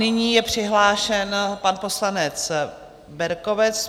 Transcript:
Nyní je přihlášen pan poslanec Berkovec.